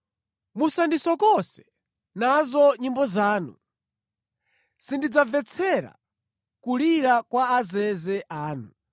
Musandisokose nazo nyimbo zanu! Sindidzamvetsera kulira kwa azeze anu.